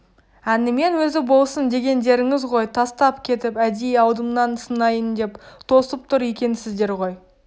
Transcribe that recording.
әнімен өзі болсын дегендеріңіз ғой тастап кетіп әдейі алдымнан сынайын деп тосып тұр екенсіздер ғой деді